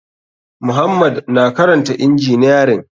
Muhammad na karanta injiniyarin.